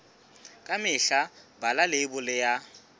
ka mehla bala leibole ya